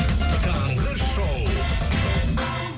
таңғы шоу